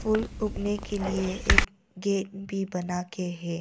फूल उगने के लिए एक गेट भी बना के है।